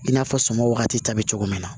I n'a fɔ sɔmi wagati ta bɛ cogo min na